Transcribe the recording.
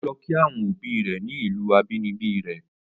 O lọ kí àwọn obi rẹ̀ ni ìlù abínibí rẹ̀.